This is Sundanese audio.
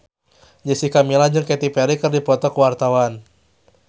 Jessica Milla jeung Katy Perry keur dipoto ku wartawan